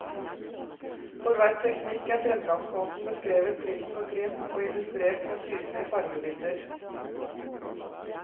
For hver teknikk er fremgangsmåten beskrevet trinn for trinn og illustrert med tydelige fargebilder.